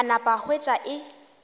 a napa a hwetša e